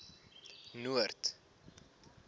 noord